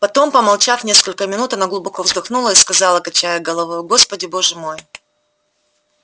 потом помолчав несколько минут она глубоко вздохнула и сказала качая головою господи боже мой